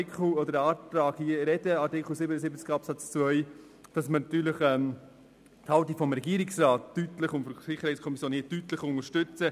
Daraus folgt für den Antrag zu Artikel 77 Absatz 2 auch, dass wir die Haltung des Regierungsrats und der SiK deutlich unterstützen: